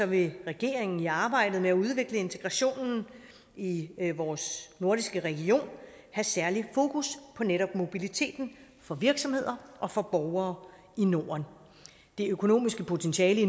vil regeringen i arbejdet med at udvikle integrationen i vores nordiske region have særligt fokus på netop mobiliteten for virksomheder og for borgere i norden det økonomiske potentiale i